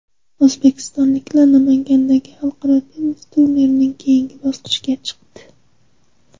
O‘zbekistonliklar Namangandagi xalqaro tennis turnirining keyingi bosqichiga chiqdi.